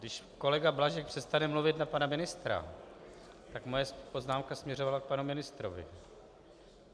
Když kolega Blažek přestane mluvit na pana ministra, tak moje poznámka směřovala k panu ministrovi...